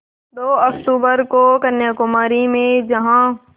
दो अक्तूबर को कन्याकुमारी में जहाँ